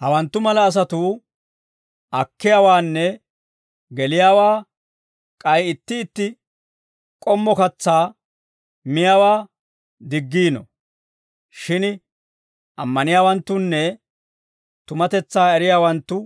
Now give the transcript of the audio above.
Hawanttu mala asatuu akkiyaawaanne geliyaawaa k'ay itti itti k'ommo katsaa miyaawaa diggiino. Shin ammaniyaawanttunne tumatetsaa eriyaawanttu